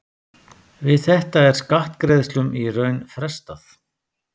Við þetta er skattgreiðslum í raun frestað.